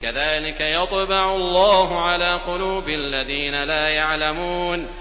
كَذَٰلِكَ يَطْبَعُ اللَّهُ عَلَىٰ قُلُوبِ الَّذِينَ لَا يَعْلَمُونَ